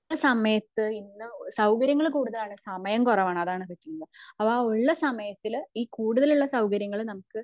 സമയത് ഇന്ന് സൗകര്യങ്ങൾ കൂടുതലാണ് സമയം കുറവാണ് അതാണ് പറ്റുന്നത് അഹ് ഉള്ള സമയത്തിൽ ഈ കൂടുതൽ ഉള്ള സൗകര്യങ്ങൾ നമുക്ക്